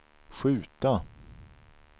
skjuta